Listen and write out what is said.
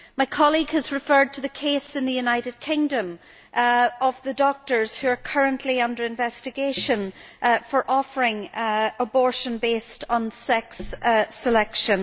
My colleague has referred to the case in the United Kingdom of the doctors who are currently under investigation for offering abortion based on sex selection.